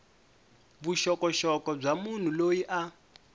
vuxokoxoko bya munhu loyi a